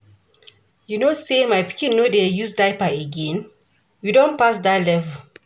You know sey my pikin no dey use diaper again? We don pass dat level.